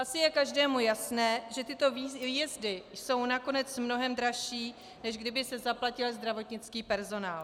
Asi je každému jasné, že tyto výjezdy jsou nakonec mnohem dražší, než kdyby se zaplatil zdravotnický personál.